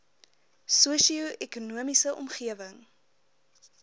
sosio ekonomiese omgewing